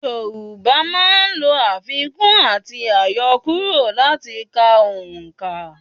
Yorùbá máa n lo àfikún àti àyokúrò láti ka òǹkà